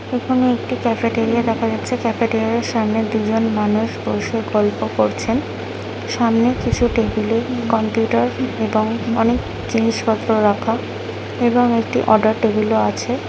এখানে একটি ক্যাফেটেরিয়া দেখা যাচ্ছে ক্যাফেটেরিয়ার সামনে দুজন মানুষ বসে গল্প করছেন সামনের কিছু টেবিলে কম্পিউটার এবং অনেক জিনিসপত্র রাখা এবং একটি অর্ডার টেবিলও আছে।